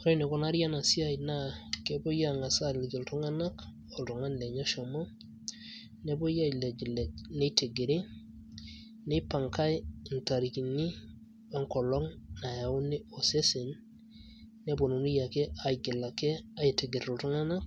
Ore enikunari enasiai naa, kepoi ang'asa aliki iltung'anak oltung'ani lenye oshomo, nepoi ailejlej nitigiri, nipangai intarikini we enkolong' nauni osesen, neponunui ake aigil ake aitigir iltung'anak,